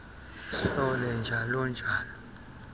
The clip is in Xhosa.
hlole njalo njalo